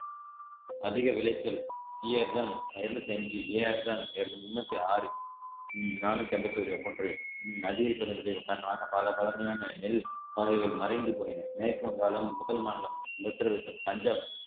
அதிக விளைச்சல் TRS இருநூத்தி அஞ்சு ARS முன்னூத்தி ஆறும் நானூத்தி எண்பத்தி ஒரு காரணமாக பல பழமையான நெல் மலைகள் மறைந்து போயின மேற்கு வங்காளம் முதல் மாநிலம் உத்திரபிரதேசம் பஞ்சாப்